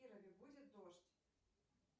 в кирове будет дождь